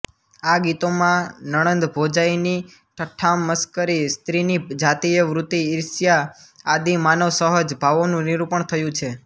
આ ગીતોમાં નણંદભોજાઈની ઠઠ્ઠામશ્કરી સ્ત્રીની જાતીય વૃત્તિ ઈર્ષ્યા આદિ માનવસહજ ભાવોનું નિરૂપણ થયું છે